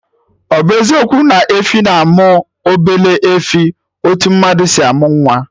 Ọ bụ eziokwu na efi na-amụ obele efi, etu mmadụ si amụ nwa